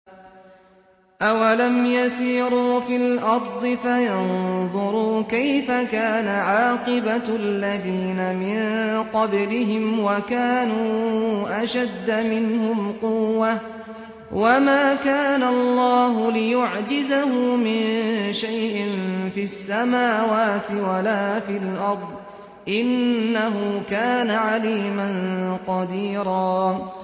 أَوَلَمْ يَسِيرُوا فِي الْأَرْضِ فَيَنظُرُوا كَيْفَ كَانَ عَاقِبَةُ الَّذِينَ مِن قَبْلِهِمْ وَكَانُوا أَشَدَّ مِنْهُمْ قُوَّةً ۚ وَمَا كَانَ اللَّهُ لِيُعْجِزَهُ مِن شَيْءٍ فِي السَّمَاوَاتِ وَلَا فِي الْأَرْضِ ۚ إِنَّهُ كَانَ عَلِيمًا قَدِيرًا